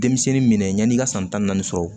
Denmisɛnnin minɛ yani i ka san tan ni naani sɔrɔ